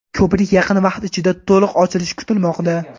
Ko‘prik yaqin vaqt ichida to‘liq ochilishi kutilmoqda.